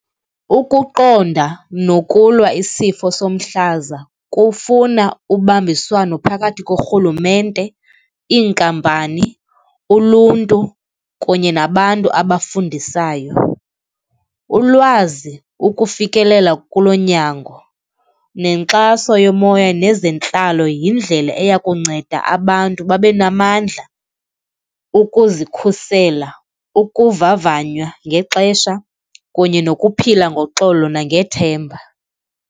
Ukuqonda nokulwa isifo somhlaza kufuna ubambiswano phakathi korhulumente, iinkampani, uluntu kunye nabantu abafundisayo. Ulwazi, ukufikelela kolo nyango nenkxaso yomoya nezentlalo yindlela eya kunceda abantu babe namandla ukuzikhusela, ukuvavanywa ngexesha kunye nokuphila ngoxolo nangethemba.